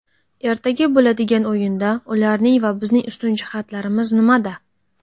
Ertaga bo‘ladigan o‘yinda ularning va bizning ustun jihatlarimiz nimada?